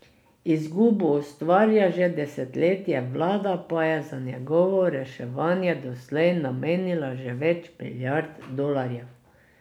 Izgubo ustvarja že desetletje, vlada pa je za njegovo reševanje doslej namenila že več milijard dolarjev.